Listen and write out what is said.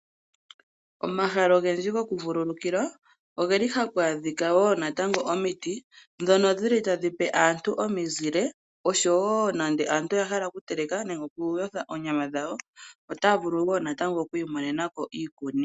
Omahala ogendji gokuvululukilwa oge li haku adhika wo natango omiti ndhono dhi li tadhi pe aantu omizile oshowo nande aantu oya hala okuteleka nenge okuyotha oonyama dhawo otaya vulu wo oku imonena ko iikuni.